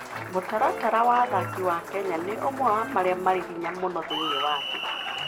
Mũtaratara wa athaki wa Kenya nĩ ũmwe wa marĩa marĩ hinya mũno thĩinĩ wa thĩ.